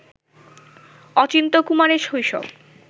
অচিন্ত্যকুমারের শৈশব